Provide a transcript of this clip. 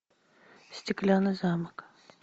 стеклянный замок